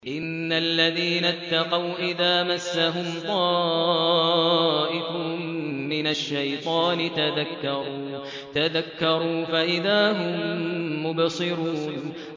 إِنَّ الَّذِينَ اتَّقَوْا إِذَا مَسَّهُمْ طَائِفٌ مِّنَ الشَّيْطَانِ تَذَكَّرُوا فَإِذَا هُم مُّبْصِرُونَ